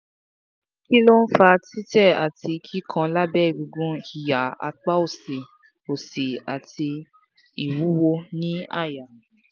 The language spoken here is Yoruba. kí ló ń fa tite ati kikan labe egungun iha apa òsì òsì ati iwuwo ní àyà?